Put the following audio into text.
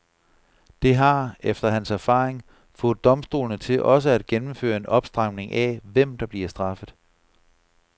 Det har, efter hans erfaring, fået domstolene til også at gennemføre en opstramning af, hvem der bliver straffet.